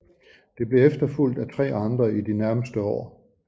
Det blev efterfulgt af tre andre i de nærmeste år